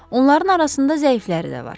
Onların arasında zəifləri də var.